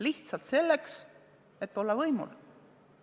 Lihtsalt selleks, et olla võimul?